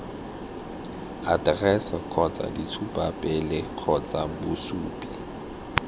aterese kgotsa ditshupapele kgotsa bosupi